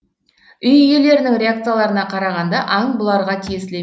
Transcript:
үй иелерінің реакцияларына қарағанда аң бұларға тиеселі